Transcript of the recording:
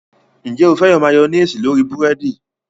Ǹjẹ́ o féràn máyọ́néésì lórí búrẹ́dì?